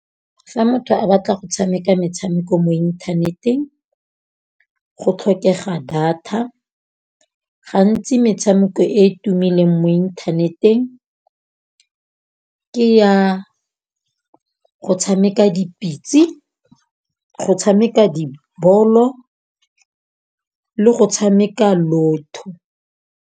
Fa motho a batla go tshameka metshameko mo inthaneteng, go tlhokega data. Gantsi metshameko e e tumileng mo inthaneteng ke ya go tshameka dipitsi, go tshameka dibolo le go tshameka Lotto.